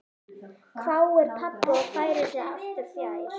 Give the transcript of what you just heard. hváir pabbi og færir sig aftur fjær.